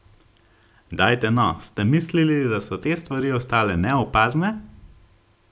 Dajte no, ste mislili, da so te stvari ostale neopazne?